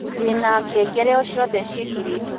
ndĩna ngengere o cĩothe cĩĩkĩrĩtwo